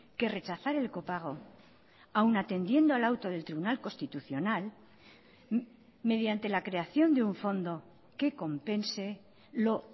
que rechazar el copago aun atendiendo al auto del tribunal constitucional mediante la creación de un fondo que compense lo